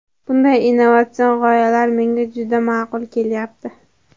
Bunday innovatsion g‘oyalar menga juda ma’qul kelyapti.